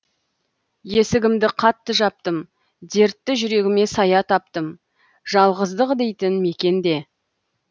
есігімді қатты жаптым дертті жүрегіме сая таптым жалғыздық дейтін мекенде